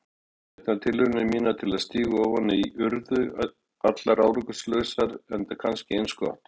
Endurteknar tilraunir mínar til að stíga ofan í urðu allar árangurslausar, enda kannski eins gott.